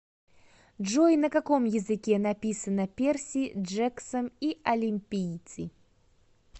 джой на каком языке написано перси джексон и олимпийцы